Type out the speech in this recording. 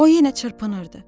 O yenə çırpınırdı.